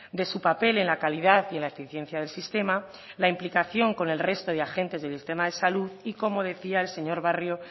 de su papel en la calidad y en la eficiencia del sistema la implicación con el resto de agentes del sistema salud y como decía el señor barrio